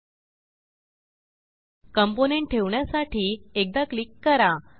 component ठेवण्यासाठी एकदा click करा